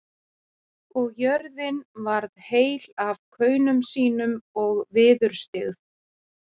Og jörðin varð heil af kaunum sínum og viðurstyggð.